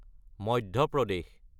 Madhya Pradesh